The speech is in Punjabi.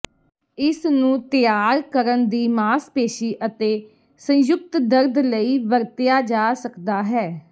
ਇਸ ਨੂੰ ਤਿਆਰ ਕਰਨ ਦੀ ਮਾਸਪੇਸ਼ੀ ਅਤੇ ਸੰਯੁਕਤ ਦਰਦ ਲਈ ਵਰਤਿਆ ਜਾ ਸਕਦਾ ਹੈ